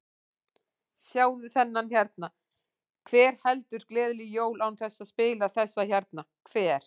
Sjáðu þennan hérna, hver heldur gleðileg jól án þess að spila þessa hérna, hver?